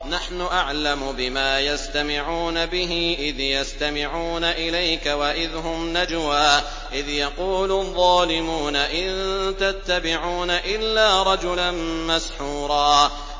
نَّحْنُ أَعْلَمُ بِمَا يَسْتَمِعُونَ بِهِ إِذْ يَسْتَمِعُونَ إِلَيْكَ وَإِذْ هُمْ نَجْوَىٰ إِذْ يَقُولُ الظَّالِمُونَ إِن تَتَّبِعُونَ إِلَّا رَجُلًا مَّسْحُورًا